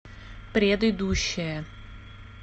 предыдущая